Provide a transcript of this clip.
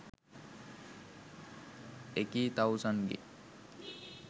එකී තවුසන්ගේ